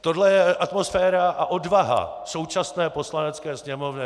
Toto je atmosféra a odvaha současné Poslanecké sněmovny.